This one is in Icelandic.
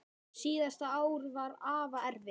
Síðasta ár var afa erfitt.